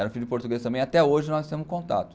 Eram filhos de portugueses também, até hoje nós temos contato.